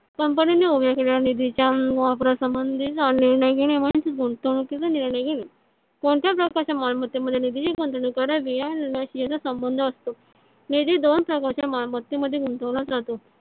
कंपनीने उभ्या केलेल्या निधी अं च्या वापरा संबंधीचा निर्णय घेणे म्हणजे गुंतवणुकीचा निर्णय घेणे . कोणत्या प्रकारच्या मालमत्ते मध्ये निधीची गुंतवणूक करावी या संबंध असतो. निधी दोन प्रकारच्या मालमत्ते मध्ये गुंतवला जातो.